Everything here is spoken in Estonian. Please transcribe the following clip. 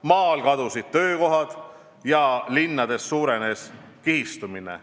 Maal kadusid töökohad ja linnades suurenes kihistumine.